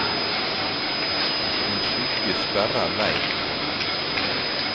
En skygge sperrer veien for ham.